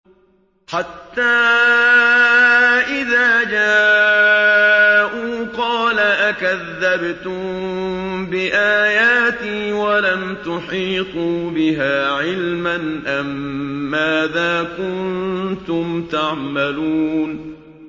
حَتَّىٰ إِذَا جَاءُوا قَالَ أَكَذَّبْتُم بِآيَاتِي وَلَمْ تُحِيطُوا بِهَا عِلْمًا أَمَّاذَا كُنتُمْ تَعْمَلُونَ